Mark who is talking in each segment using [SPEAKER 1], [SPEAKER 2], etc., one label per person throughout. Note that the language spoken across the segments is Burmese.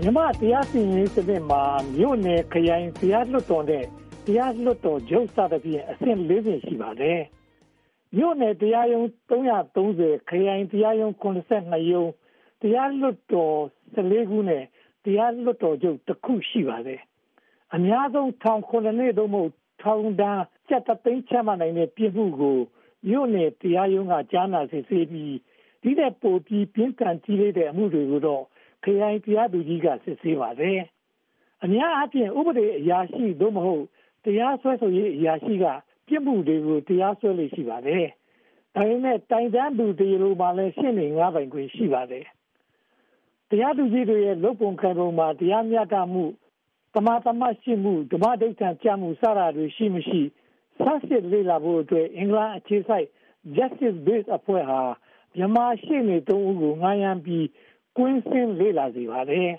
[SPEAKER 1] မြန်မာ့တရားစီရင်ရေးစနစ်မှာ မြို့နယ်၊ ခရိုင်၊ တရားလွှတ်တော်နဲ့ တရားလွှတ်တော်ချုပ် စသဖြင့် အဆင့် (၄) ဆင့် ရှိပါတယ်။ မြို့နယ်တရားရုံး (၃၃၀)၊ ခရိုင်တရားရုံး (၇၂) ရုံး၊ တရားလွှတ်တော် (၁၄) ခုနဲ့ တရားလွှတ်တော်ချုပ် (၁) ခု ရှိပါတယ်။ အများဆုံး ထောင်ဒဏ် (၇) နှစ် (သို့မဟုတ်) ဒဏ်ငွေ (၁) သိန်း ချမှတ်နိုင်တဲ့ ပြစ်မှုကို မြို့နယ်တရားရုံးက ကြားနားစစ်ဆေးပြီး ဒီထက်ပိုပြီး ပြင်းထန်ကြီးလေးတဲ့ အမှုတွေကိုတော့ ခရိုင်တရားသူကြီးရုံးက စစ်ဆေးပါတယ်။ အများအားဖြင့် ဥပဒေအရာရှိ (သို့မဟုတ်) တရားစွဲဆိုရေးအရာရှိက ပြစ်မှုတွေကို တရားစွဲလေ့ ရှိပါတယ်။ ဒါပေမဲ့ တိုင်တန်းသူ တရားလိုမှာလည်း ရှေ့နေငှားပိုင်ခွင့် ရှိပါတယ်။ တရားသူကြီးတွေရဲ့ လုပ်ပုံကိုင်ပုံမှာ တရားမျှတမှု၊ သမာသမတ်ရှိမှု၊ ဓမ္မဓိဋ္ဌာန်ကျမှု စတာတွေ ရှိမရှိ၊ လေ့လာဆန်းစစ်ဖို့အတွက် အင်္ဂလန်အခြေစိုက် Justice Base အဖွဲ့ဟာ မြန်မာ့ရှေ့နေ (၃) ဦးကို ငှားရမ်းပြီး ကွင်းဆင်းလေ့လာစေခဲ့ပါတယ်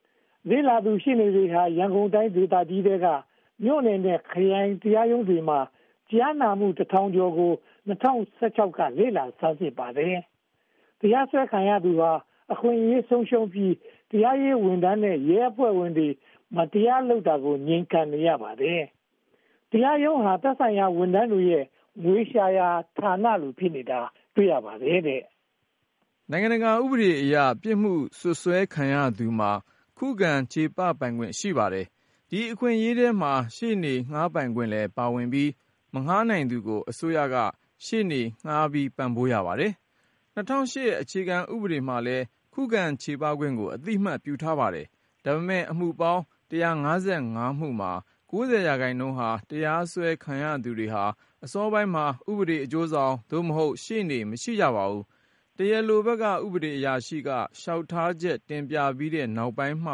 [SPEAKER 1] ။ လေ့လာသူ ရှေ့နေတွေဟာ ရန်ကုန်တိုင်းဒေသကြီးထဲက မြို့နယ်နဲ့ ခရိုင်ရုံးတွေမှာ ကြားနာမှု (၁၁၅၈) ခုကို ၂၀၁၆ က လေ့လာဆန်းစစ်ပါတယ်။ တရားစွဲခံရသူဟာ အခွင့်အရေးတွေ ဆုံးရှုံးပြီး၊ တရားရေးဝန်ထမ်းနဲ့ ရဲအဖွဲ့ဝင်တွေ မတရားလုပ်တာကို ငြိမ်ခံနေရပါတယ်။ တရားရုံးဟာ သက်ဆိုင်ရာဝန်ထမ်းတွေရဲ့ ငွေရှာရာဌာနလို ဖြစ်နေတာကို တွေ့ရပါတယ်
[SPEAKER 2] ။ နိုင်ငံတကာ ဥပဒေအရ ပြစ်မှုစွပ်စွဲခံရသူမှာ ခုခံချေပပိုင်ခွင့် ရှိပါတယ်။ ဒီအခွင့်အရေးထဲမှာ ရှေ့နေငှားပိုင်ခွင့်လည်း ပါဝင်ပြီး၊ မငှားနိုင်သူကို အစိုးရက ရှေ့နေငှားပြီး ပံ့ပိုးရပါတယ်။ ၂၀၀၈ အခြေခံဥပဒေမှာလည်း ခုခံချေပခွင့်ကို အသိအမှတ်ပြုထားပါတယ်။ ဒါပေမဲ့ အမှုပေါင်း (၁၅၅) မှုမှာ (၉၀) ရာခိုင်နှုန်းဟာ တရားစွဲခံရသူတွေဟာ အစောပိုင်းမှာ ဥပဒေအကျိုးဆောင် (သို့မဟုတ်) ရှေ့နေ မရှိကြပါဘူး။ တရားလိုဘက်က ဥပဒေအရာရှိက လျှောက်ထားချက်တင်ပြပြီးတဲ့ နောက်ပိုင်းမှ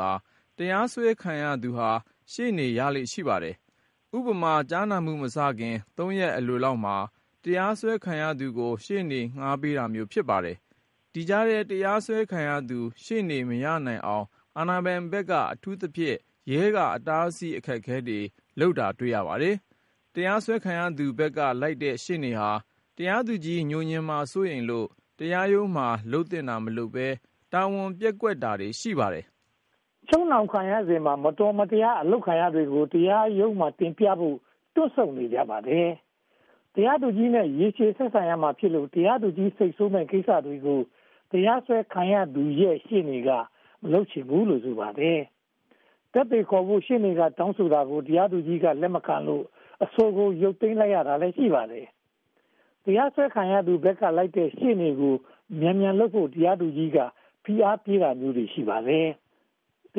[SPEAKER 2] သာ တရားစွဲခံရသူဟာ ရှေ့နေ ရလေ့ရှိပါတယ်။ ဥပမာ ကြားနာမှုမစခင် သုံးရက်အလိုမှာ တရားစွဲခံရသူကို ရှေ့နေငှားပေးတာမျိုး ဖြစ်ပါတယ်။ ဒီကြားထဲ တရားစွဲခံရသူ ရှေ့နေမရနိုင်အောင် အာဏာပိုင်ဘက်က အထူးသဖြင့် ရဲက အတားအဆီး အခက်အခဲတွေလုပ်တာ တွေ့ရပါတယ်။ တရားစွဲခံရသူဘက်ကလိုက်တဲ့ ရှေ့နေဟာ တရားသူကြီး ငြိုငြင်မှာ စိုးရိမ်လို့ တရားရုံးမှာ လုပ်သင့်တာမလုပ်ဘဲ၊ တာဝန်ပျက်ကွက်တာတွေ ရှိပါတယ်
[SPEAKER 1] ။ ချုပ်နှောင်ခံရစဉ်မှာ မတော်မတရား အလုပ်ခံရတာတွေကို တရားရုံးမှာ တင်ပြဖို့ တွန့်ဆုတ်နေကြပါတယ်။ တရားသူကြီးနဲ့ ရေရှည်ဆက်ဆံရမှာဖြစ်လို့ တရားသူကြီး စိတ်ဆိုးမယ့်ကိစ္စတွေကို တရားစွဲခံရသူရဲ့ ရှေ့နေက မလုပ်ချင်ဘူးလို့ ဆိုပါတယ်။ သက်သေခေါ်ဖို့ ရှေ့နေက တောင်းဆိုတာကို တရားသူကြီးက လက်မခံလို့ အဆိုကို ရုတ်သိမ်းလိုက်ရတာလည်း ရှိပါတယ်။ တရားစွဲခံရသူဘက်က လိုက်တဲ့ရှေ့နေကို မြန်မြန်လုပ်ဖို့ တရားသူကြီးက ဖိအားပေးတာမျိုးလည်း ရှိပါတယ်။ တ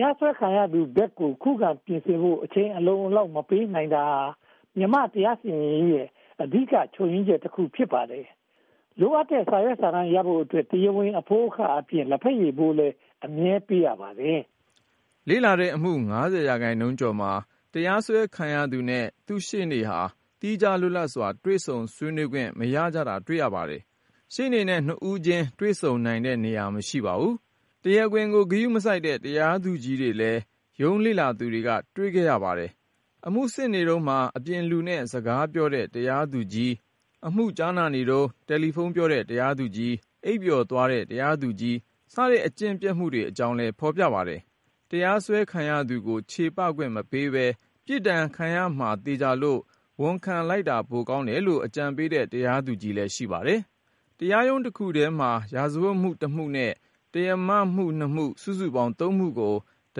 [SPEAKER 1] ရားစွဲခံရသူဘက်ကို ခုခံပြင်ဆင်ဖို့ အချိန်အလုံအလောက် မပေးနိုင်တာဟာ မြန်မာ့တရားစီရင်ရေးရဲ့ အဓိက ချို့ယွင်းချက်တခု ဖြစ်ပါတယ်။ လိုအပ်တဲ့ စာရွက်စာတမ်းရဖို့အတွက် တရားဝင်အဖိုးအခအပြင် လက်ဖက်ရည်ဖိုး အမြဲပေးရပါတယ်
[SPEAKER 2] ။ လေ့လာတဲ့အမှု (၅၀) ရာခိုင်နှုန်းကျော်မှာ တရားစွဲခံရသူနဲ့ သူ့ရှေ့နေဟာ သီးခြားလွတ်လပ်စွာ တွေ့ဆုံဆွေးနွေးခွင့် မရကြတာ တွေ့ရပါတယ်။ ရှေ့နေနဲ့ နှစ်ဦးချင်း တွေ့ဆုံနိုင်တဲ့နေရာ မရှိပါဘူး။ တရားခွင်ကို ဂရုမစိုက်တဲ့ တရားသူကြီးတွေလည်း ရုံးလေ့လာသူတွေ တွေ့ခဲ့ပါတယ်။ အမှုစစ်နေတုန်းမှာ အပြင်လူနဲ့ စကားပြောတဲ့ တရားသူကြီး၊ အမှုကြားနာတုန်း တယ်လီဖုန်းပြောတဲ့ တရားသူကြီး၊ အိပ်ပျော်သွားတဲ့ တရားသူကြီး စတဲ့ အကျင့်ပျက်တွေအကြောင်းလည်း ဖော်ပြပါတယ်။ တရားစွဲခံရသူကို ချေပခွင့်မပေးဘဲ ပြစ်ဒဏ်ခံရမှာ သေချာလို့ ဝန်ခံလိုက်တာ ပိုကောင်းတယ်လို့ အကြံပေးတဲ့ တရားသူကြီးလည်း ရှိပါတယ်။ တရားရုံးတခုတည်းမှာ ရာဇဝတ်မှု (၁) မှုနဲ့ တရားမမှု (၂) မှု စုစုပေါင်း (၃) မှုကို တ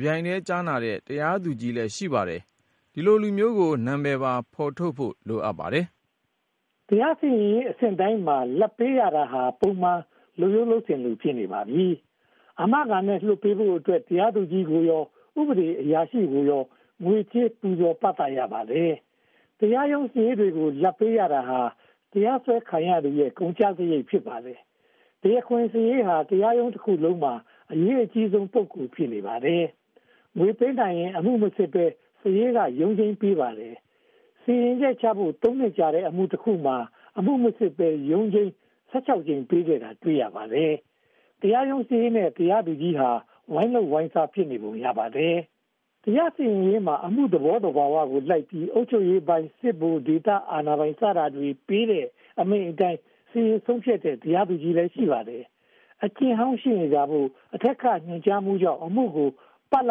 [SPEAKER 2] ပြိုင်တည်း ကြားနာတဲ့ တရားသူကြီးလည်း ရှိပါတယ်။ ဒီလိုလူမျိုးကို နာမည်ပါ ဖော်ထုတ်ဖို့ လိုအပ်ပါတယ်
[SPEAKER 1] ။ တရားစီရင်ရေးအဆင့်တိုင်းမှာ လာဘ်ပေးရတာဟာ ပုံမှန်လုပ်ရိုးလုပ်စဉ်လို ဖြစ်နေပါပြီ။ အာမခံနဲ့ လွှတ်ပေးဖို့အတွက်ဆိုရင် တရားသူကြီးကိုရော ဥပဒေအရာရှိကိုရော ငွေကြေးပူဇော်ပသ ရပါတယ်။ တရားရုံးစာရေးတွေကို လာဘ်ပေးရတာဟာ တရားစွဲခံရသူရဲ့ ကုန်ကျစရိတ် ဖြစ်ပါတယ်။ တရားခွင့်စာရေးဟာ တရားရုံးခန်းတခုလုံးမှာ အရေးကြီးဆုံး ပုဂ္ဂိုလ် ဖြစ်နေပါတယ်။ ငွေပေးနိုင်ရင် အမှုမစစ်ဘဲ စာရေးက ရုံးချိန်းပေးပါတယ်။ စီရင်ချက်ချဖို့ (၃) နှစ်ကြာတဲ့ အမှု (၁) ခုမှာ အမှုမစစ်ဘဲ ရုံးချိန်း (၁၆) ကြိမ် ပေးခဲ့တာ တွေ့ရပါတယ်။ တရားရုံးစာရေးနဲ့ တရားသူကြီး ဝိုင်းလုပ်ဝိုင်းစား ဖြစ်နေပုံ ရပါတယ်။ တရားစီရင်ရေးမှာ အမှုသဘောသဘာဝကိုလိုက်ပြီး အုပ်ချုပ်ရေးပိုင်း၊ စစ်ဗိုလ်၊ ဒေသအာဏာပိုင်တွေ စတာတွေ ပေးတဲ့အမိန့်အတိုင်း စီရင်ဆုံးဖြတ်တဲ့ တရားသူကြီးလည်း ရှိပါတယ်။ အကျင့်ဟောင်းရှိနေတာမို့ အထက်က ညွှန်ကြားမှုကြောင့် အမှုကို ပလ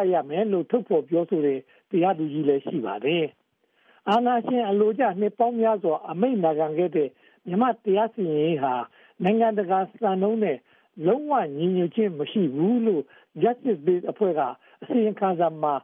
[SPEAKER 1] ပ်ရမယ်လို့ ထုတ်ဖော်ပြောဆိုတဲ့ တရားသူကြီးလည်း ရှိပါတယ်။ အာဏာရှင်အလိုကျ နှစ်ပေါင်းများစွာ အမိန်နာခံခဲ့တဲ့ မြန်မာ့တရားစီရင်ရေးဟာ နိုင်ငံတကာစံနှုန်းနဲ့ လုံးဝညီညွှတ်ခြင်းမရှိဘူးလို့ Justice Base အဖွဲ့ အစီရင်ခံစာမှာ